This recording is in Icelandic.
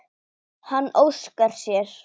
Hann óskar sér.